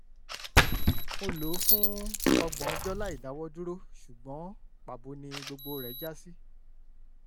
mo lò ó fún ọgbọ̀n ọjọ́ láìdáwọ́dúró ṣùgbọ́n pàbó ni gbogbo rẹ̀ já sí